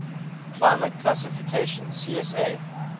climate classification csa